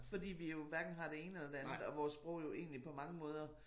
Fordi vi jo hverken har det ene eller det andet og vores sprog jo egentlig på mange måder